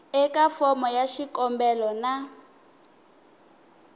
eka fomo ya xikombelo na